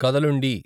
కదలుండి